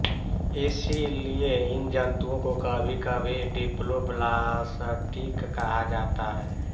इसी लिए इन जंतुओं को कभी कभी डिप्लोब्लासटिक कहा जाता है